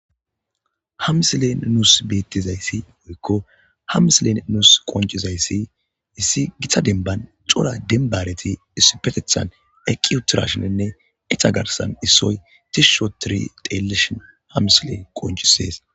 Ha misileni nusi betizayisi aze gukko ha misilezani nus qoniccizayisi gita demibbani cora demiba hareti eqi utiddashininee isita garisani issoyi tishi othidi xelizaysa ha misileyi qoncises